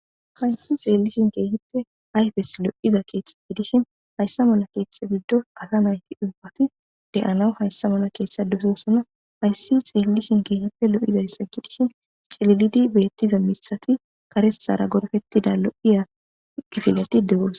Fraynsi xeellishin keehippe ayfes lo7iza keeththe gidishin hayssa mala keeththe biddo asa nayti ubfati de'ana hayssa mala keeththe dososanna hayssi xeellishin keehippe lo'izayssa gidishin cililidi beettiza mithati karesara gorfettida lo'iya gifileti degos.